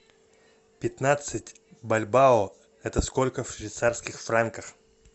пятнадцать бальбоа это сколько в швейцарских франках